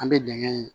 An bɛ dingɛ in